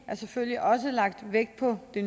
selvfølgelig også lagt vægt på de